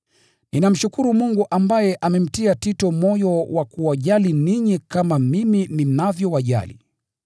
Ninamshukuru Mungu ambaye amemtia Tito moyo wa kuwajali ninyi kama mimi ninavyowajali.